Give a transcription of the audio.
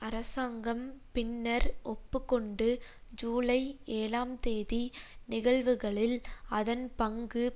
அரசாங்கம் பின்னர் ஒப்பு கொண்டு ஜூலை ஏழாம் தேதி நிகழ்வுகளில் அதன் பங்கு